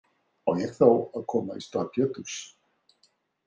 Á ég þá að koma í stað Péturs?